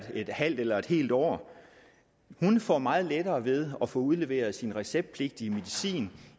et halvt eller et helt år får meget lettere ved at få udleveret sin receptpligtige medicin